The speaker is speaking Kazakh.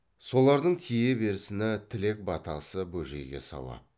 солардың тие берсіні тілек батасы бөжейге сауап